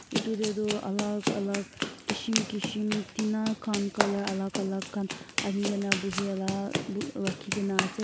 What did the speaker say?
itudey tu alak alak kishim kishim tina khan color alak alak khan anigena buhela bui rakhigena ase.